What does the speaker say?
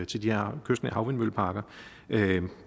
til de her kystnære havvindmølleparker